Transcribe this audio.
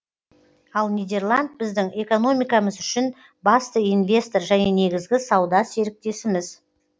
ал нидерланд біздің экономикамыз үшін басты инвестор және негізгі сауда серіктесіміз